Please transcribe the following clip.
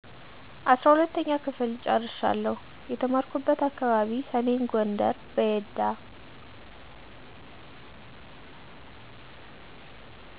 12ኛ ክፍል ጨርሻለሁ የተማርኩበት አካባቢ ሰሜን ጎንደር በየዳ